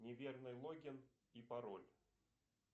неверный логин и пароль